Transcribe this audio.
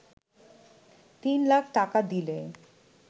তিন লাখ টাকা দিলে